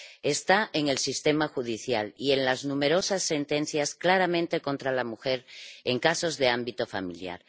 Está en el sistema judicial y en las numerosas sentencias claramente contra la mujer en casos de ámbito familiar